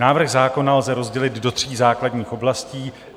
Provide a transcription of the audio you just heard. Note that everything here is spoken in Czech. Návrh zákona lze rozdělit do tří základních oblastí.